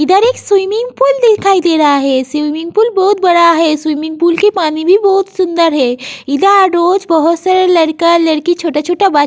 इधर एक swimming pool दिखाई दे रहा है। स्विमिंग पूल बहुत बड़ा है। स्विमिंग पूल की पानी भी बहुत सुंदर है। इधा डोज बहोत सारे लरका लरकी छोटा छोटा वा --